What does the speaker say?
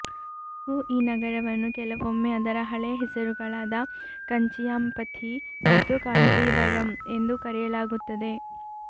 ಇಂದಿಗೂ ಈ ನಗರವನ್ನು ಕೆಲವೊಮ್ಮೆ ಅದರ ಹಳೆಯ ಹೆಸರುಗಳಾದ ಕಂಚಿಯಾಂಪಥಿ ಮತ್ತು ಕಾಂಜೀವರಂ ಎಂದು ಕರೆಯಲಾಗುತ್ತದೆ